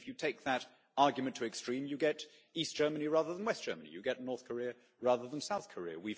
If you take that argument to the extreme, you get East Germany rather than West Germany, and North Korea rather than South Korea.